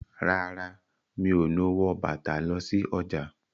Rárá, Mi o no wọ bàtà lọ sí ọjà.